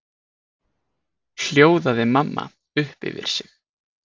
hljóðaði mamma upp yfir sig.